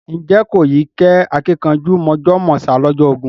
Ǹjẹ́ kò yí kẹ́ àkìnkanjú mọ̀jọ̀ mọ̀sá lọ́jọ́ ogún?